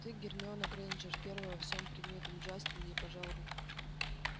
ты гермиона грэйнджер первая по всем предметам джастин и ей пожал руку